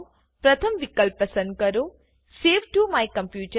પથમ વિકલ્પ પસંદ કરો સવે ટીઓ માય કોમ્પ્યુટર